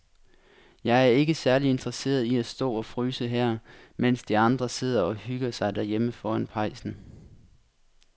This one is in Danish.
Jeg er ikke særlig interesseret i at stå og fryse her, mens de andre sidder og hygger sig derhjemme foran pejsen.